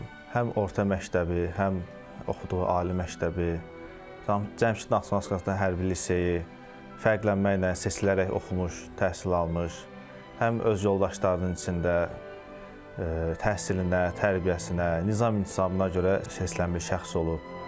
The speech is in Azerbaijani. Həm orta məktəbi, həm oxuduğu ali məktəbi, Cəmşid Naxçıvanski hərbi liseyi fərqlənməklə, seçilərək oxumuş, təhsil almış, həm öz yoldaşlarının içində təhsilinə, tərbiyəsinə, nizam-intizamına görə seçilmiş şəxs olub.